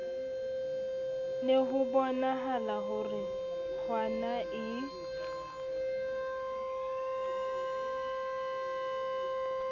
ne hobonahala ho re nkgonae